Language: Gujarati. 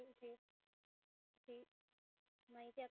thank you જી માહિતી આપવા